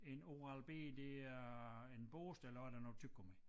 En Oral-B det er en børste eller også er det noget tyggegummi